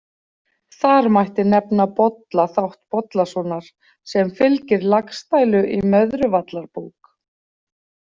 Þar mætti nefna Bolla þátt Bollasonar sem fylgir Laxdælu í Möðruvallarbók.